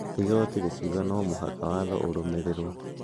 Igoti rĩkiuga no mũhaka watho ũrũmĩrĩrwo.